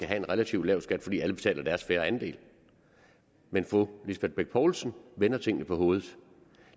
have en relativt lav skat altså fordi alle betaler deres fair andel men fru lisbeth bech poulsen vender tingene på hovedet